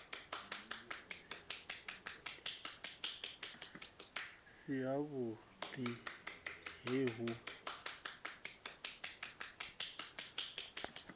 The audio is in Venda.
si havhu ḓi he hu